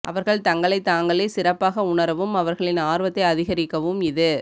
அவர்கள் தங்களை தாங்களே சிறப்பாக உணரவும் அவர்களின் ஆர்வத்தை அதிகரிக்கவும் இது